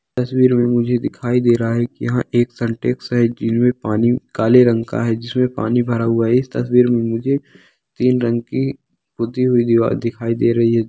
इस तस्वीर में मुझे दिखाई दे रहा है की यहाँ एक सिंटेक्स साइकिल में पानी काले रंग का है जिसमे पानी भरा हुवा है इस तस्वीर में मुझे तीन रंग की पुत्ती हुई दीवार दिखाई दे रही है।